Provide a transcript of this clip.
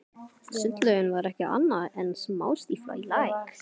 Sundlaugin var ekki annað en smástífla í læk.